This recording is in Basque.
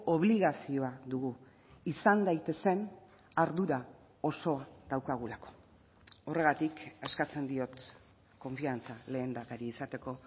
obligazioa dugu izan daitezen ardura osoa daukagulako horregatik eskatzen diot konfiantza lehendakari izateko